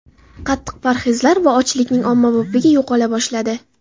Qattiq parhezlar va ochlikning ommabopligi yo‘qola boshladi.